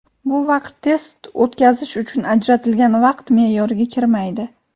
Bu vaqt test o‘tkazish uchun ajratilgan vaqt me’yoriga kirmaydi.